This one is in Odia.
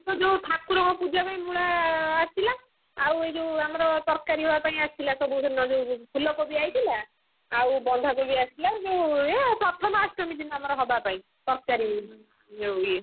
ତ ଯୋଉ ଠାକୁରଙ୍କ ପୂଜା ପାଇଁ ମୂଳା ଆସିଥିଲା ଆଉ ଏଯୋଉ ଆମର ତରକାରି ହବା ପାଇଁ ଆସିଥିଲା ସବୁ ଭଲ ଫୁଲକୋବି ଆଇଥିଲା, ଆଉ ବନ୍ଧାକୋବି ଆସିଥିଲା ଆଉ ଏ ପ୍ରଥମାଷ୍ଟମୀ ଦିନ ହବା ପାଇଁ ତରକାରି ଯୋଉ ଇଏ,